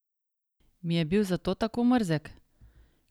Mi je bil zato tako mrzek?